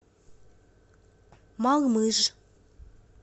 малмыж